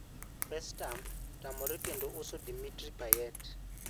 West Ham otamore kendo uso Dimitri Payet